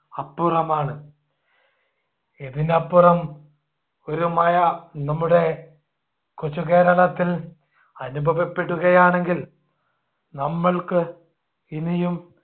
അപ്പുറമാണ്. ഇതിനപ്പുറം ഒരു മഴ നമ്മുടെ കൊച്ചു കേരളത്തിൽ അനുഭവപ്പെടുകയാണെങ്കിൽ നമ്മൾക്ക് ഇനിയും